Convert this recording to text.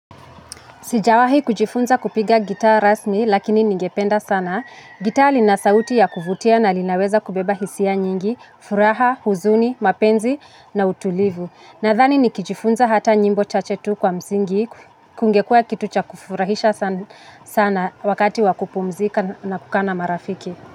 Sijawahi kujifunza kupiga gitaa rasmi lakini ningependa sana. Gitaa lina sauti ya kuvutia na linaweza kubeba hisia nyingi: furaha, huzuni, mapenzi na utulivu. Nadhani nikijifunza hata nyimbo chache tu kwa msingi, kingekuwa kitu cha kufurahisha sana wakati wa kupumzika na kukutana na marafiki.